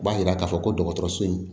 U b'a yira k'a fɔ ko dɔgɔtɔrɔso in